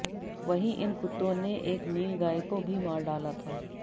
वहीं इन कुत्तों ने एक नील गाय को भी मार डाला था